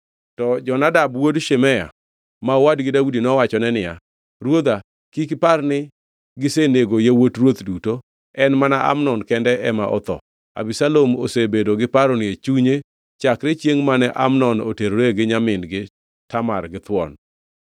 To Jonadab wuod Shimea ma owadgi Daudi, nowachone niya, “Ruodha kik par ni gisenego yawuot ruoth duto. En mana Amnon kende ema otho. Abisalom osebedo gi paroni e chunye chakre chiengʼ mane Amnon oterore gi nyamin-gi Tamar githuon.